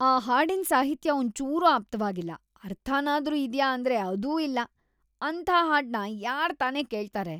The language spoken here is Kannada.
ಆ ಹಾಡಿನ್ ಸಾಹಿತ್ಯ ಒಂಚೂರೂ ಆಪ್ತವಾಗಿಲ್ಲ, ಅರ್ಥನಾದ್ರೂ ಇದ್ಯಾ ಅಂದ್ರೆ ಅದೂ ಇಲ್ಲ, ಅಂಥ ಹಾಡ್ನ ಯಾರ್ತಾನೇ ಕೇಳ್ತಾರೆ.